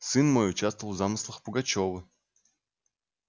сын мой участвовал в замыслах пугачёва